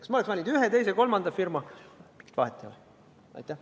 Kas ma oleks valinud ühe, teise või kolmanda firma, mingit vahet ei oleks.